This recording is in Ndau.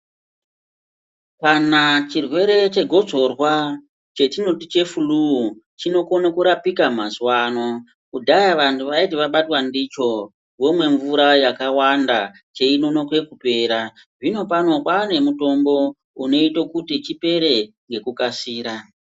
Kana chirwere chegotsorwa chetinoti chefuluu chinokono kurapika mazuwa ano. Kudhaya vantu vaiti vabatwa ndicho vomwe mvura yakawanda cheinonoke kupera. Zvinopano kwane mutombo unoita kuti chipere ngekukasira.